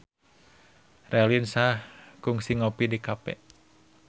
Raline Shah kungsi ngopi di cafe